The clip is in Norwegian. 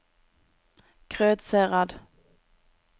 Krødsherad